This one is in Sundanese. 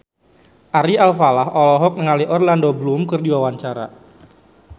Ari Alfalah olohok ningali Orlando Bloom keur diwawancara